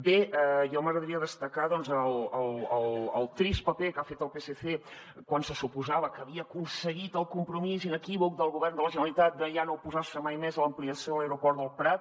bé a mi m’agradaria destacar doncs el trist paper que ha fet el psc quan se suposava que havia aconseguit el compromís inequívoc del govern de la generalitat de ja no oposar se mai més a l’ampliació de l’aeroport del prat